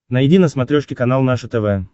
найди на смотрешке канал наше тв